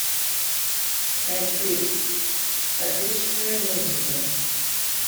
найти отечественные мюзиклы